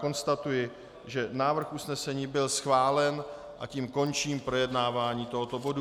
Konstatuji, že návrh usnesení byl schválen, a tím končím projednávání tohoto bodu.